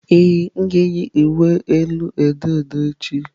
Ee, m ga-eyi uwe elu odo odo echi.